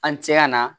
An cɛya na